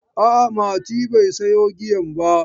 A'a, Mati bai sayo giyan ba.